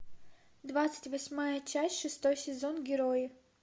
двадцать восьмая часть шестой сезон герои